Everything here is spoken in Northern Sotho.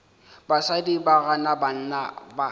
basadi ba gana banna ba